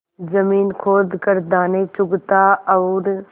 जमीन खोद कर दाने चुगता और